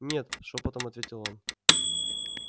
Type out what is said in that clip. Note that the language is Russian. нет шёпотом ответил он